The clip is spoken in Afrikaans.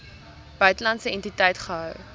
buitelandse entiteit gehou